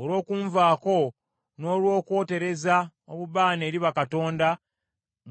Olw’okunvaako n’olw’okwotereza obubaane eri bakatonda,